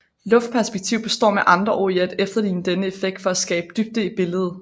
Luftperspektiv består med andre ord i at efterligne denne effekt for at skabe dybde i billedet